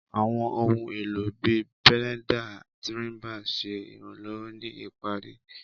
Àwọn ohun èlò bíi binders, trimmers ń ṣe ìrànlọ́wọ́ ní ìparí.